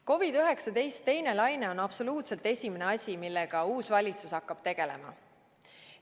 COVID‑19 teine laine on esimene asi, millega uus valitsus hakkab tegelema.